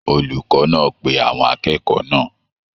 Olùkọ náà pé àwọn akẹ́kọ̀ọ́ náà.